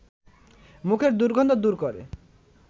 মুখের দুর্গন্ধ দূর করে